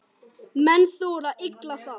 Menn þola illa það.